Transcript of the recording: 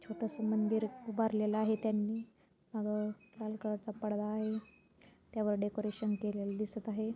छोटसं मंदिर उभारलेलं आहे त्यांनी अह लाल कलरचा पडदा आहे. त्यावर डेकोरेशन केलेलं दिसत आहे.